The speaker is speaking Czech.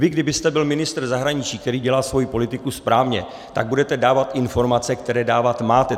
Vy kdybyste byl ministr zahraničí, který dělá svou politiku správně, tak budete dávat informace, které dávat máte.